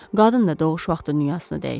Qadın da doğuş vaxtı dünyasını dəyişir.